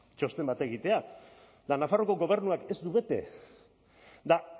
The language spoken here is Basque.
txosten bat egitea eta nafarroako gobernuak ez du bete eta